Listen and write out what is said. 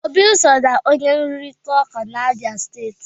Obi so na onye nrụrịta ụka n'Abia steeti.